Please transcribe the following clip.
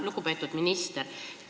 Lugupeetud minister!